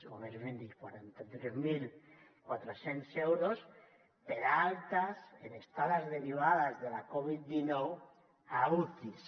o més ben dit quaranta tres mil quatre cents euros per altes en estades derivades de la covid dinou a ucis